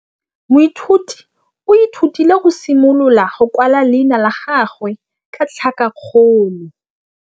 Moithuti o ithutile go simolola go kwala leina la gagwe ka tlhakakgolo.